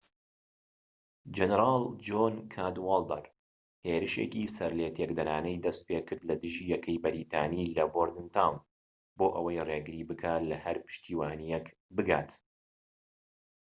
جەنەرال جۆن کادوالدەر هێرشێکی سەرلێتێکدەرانەی دەستپێکرد لە دژی یەکەی بەریتانی لە بۆردنتاون بۆ ئەوەی ڕێگری بکات لە هەر پشتیوانیەك بگات